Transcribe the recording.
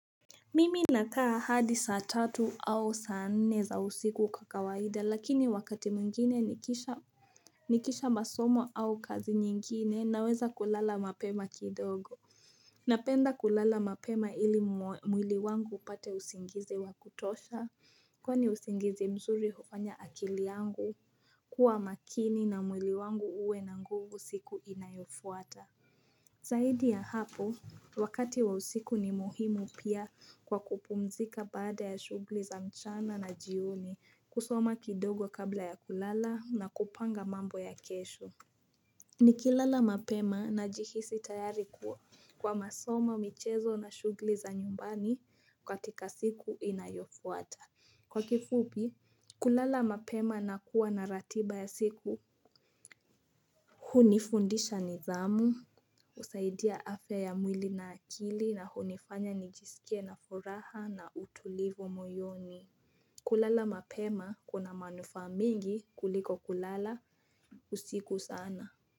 Mimi nakaa hadi saa tatu au saa nne za usiku kakawaida lakini wakati mwingine nikisha Nikisha masomo au kazi nyingine naweza kulala mapema kidogo Napenda kulala mapema ili mwili wangu upate usingizi wa kutosha Kwani usingizi mzuri hufanya akili yangu kuwa makini na mwili wangu uwe na nguvu siku inayofuata Zaidi ya hapo, wakati wa usiku ni muhimu pia kwa kupumzika baada ya shugli za mchana na jioni kusoma kidogo kabla ya kulala na kupanga mambo ya kesho. Nikilala mapema najihisi tayari kwa masomo michezo na shugli za nyumbani katika siku inayofuata. Kwa kifupi, kulala mapema na kuwa na ratiba ya siku. Hunifundisha nidhamu, husaidia afya ya mwili na akili na hunifanya nijisikie na furaha na utulivu moyoni. Kulala mapema kuna manufaa mingi kuliko kulala usiku sana.